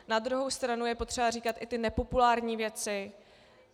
Na druhou stranu je potřeba říkat i ty nepopulární věci.